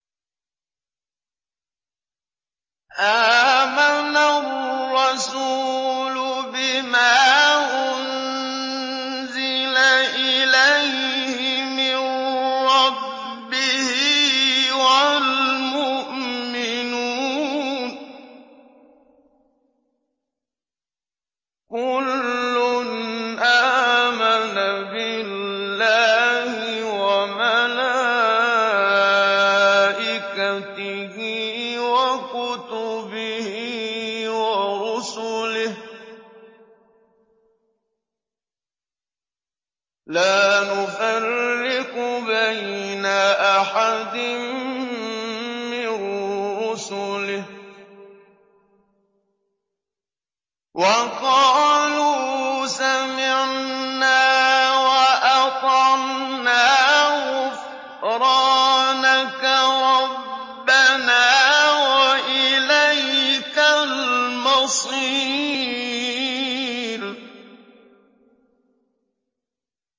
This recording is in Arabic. آمَنَ الرَّسُولُ بِمَا أُنزِلَ إِلَيْهِ مِن رَّبِّهِ وَالْمُؤْمِنُونَ ۚ كُلٌّ آمَنَ بِاللَّهِ وَمَلَائِكَتِهِ وَكُتُبِهِ وَرُسُلِهِ لَا نُفَرِّقُ بَيْنَ أَحَدٍ مِّن رُّسُلِهِ ۚ وَقَالُوا سَمِعْنَا وَأَطَعْنَا ۖ غُفْرَانَكَ رَبَّنَا وَإِلَيْكَ الْمَصِيرُ